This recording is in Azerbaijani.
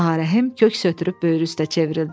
Ağarəhim kök södürüb böyrü üstə çevrildi.